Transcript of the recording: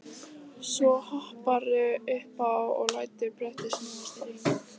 Svo hopparðu upp og lætur brettið snúast í hring.